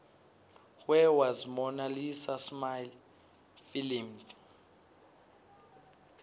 where was mona lisa smile filmed